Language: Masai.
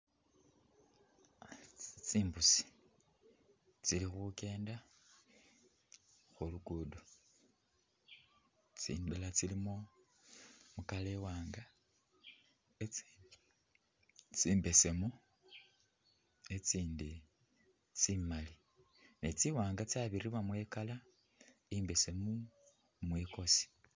Tsimbusi tsikhukenda khulugudo tsindala tsilimo ii’colour i’wanga itsindi tsimbesemu itsindi tsimali netsiwanga tsabiramo ii’colour embesemu mwikosi